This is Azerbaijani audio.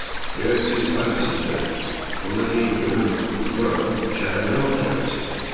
Əgər siz Harvis iszə, onda deyin görüm bura, şəhərə nə vaxt gəlmisiniz?